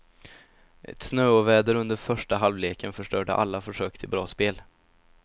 Ett snöoväder under första halvleken förstörde alla försök till bra spel.